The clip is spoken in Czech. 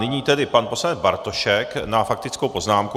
Nyní tedy pan poslanec Bartošek má faktickou poznámku.